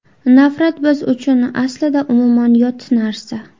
Nafrat biz uchun, aslida, umuman yot narsa!